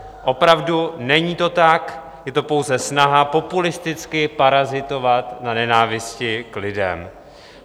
Opravdu, není to tak, je to pouze snaha populisticky parazitovat na nenávisti k lidem.